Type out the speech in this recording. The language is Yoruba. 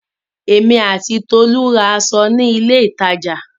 Èmi àti Tolú ra aṣọ ní ilé-ìtajà.